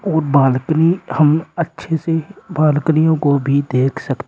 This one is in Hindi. और बालकनी हम अच्छे से बालकनियों को भी देख सक--